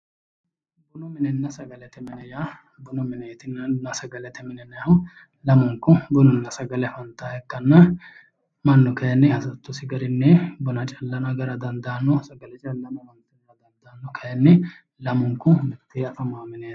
Bunu minenna sagalete mine yaa bunu mineetinna sagalete mine yinayhu lamunku bununna sagale afantaaha ikkanna mannu kayinni hasattosi garinni buna callano agara dandaanno sagale callano itara dandaanno kayinni lamunku mittee afamao mineeti